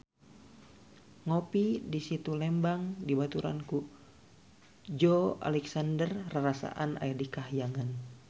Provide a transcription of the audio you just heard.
Ngopi di Situ Lembang dibaturan ku Joey Alexander rarasaan aya di kahyangan